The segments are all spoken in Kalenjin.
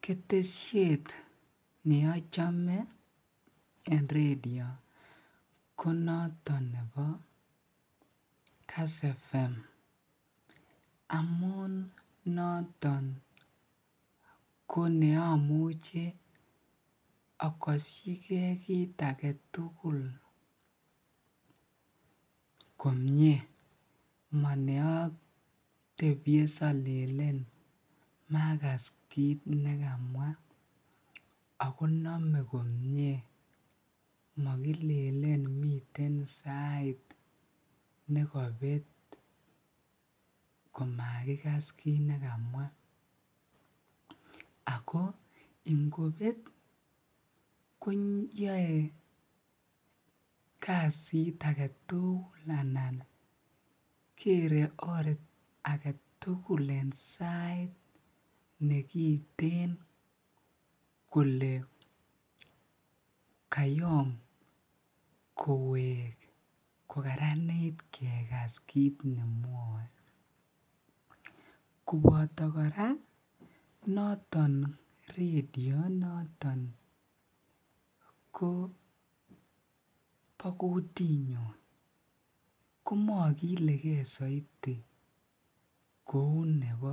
Ketesiet neochome en redio konoton nebo Kass Fm amun noton ko neomuche akoshike kiit aketul komnye maneotebye siolelen makas kiit nekamwa ak konomee komnye monekilelen miten sait nekobet komakikas kiit nekamwa ak ko ingobet koyoe kasit aketukul anan kere oor aketukul en sait nekiten kolee kayo kowek kokaranit kekas kiit nemwoe, koboto kora noton redio noton ko bokutinyon ko mokileke soiti kouu nebo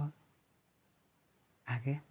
akee.